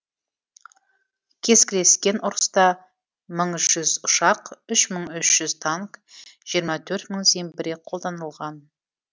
кескілескен ұрыста мың жүз ұшақ үш мың үш жүз танк жиырма төрт мың зеңбірек қолданылған